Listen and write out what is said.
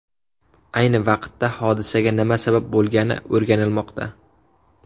Ayni vaqtda hodisaga nima sabab bo‘lgani o‘rganilmoqda.